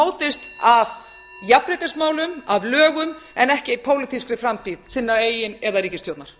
mótist af jafnréttismálum af lögum en ekki pólitískri framtíð sinnar eigin eða ríkisstjórnar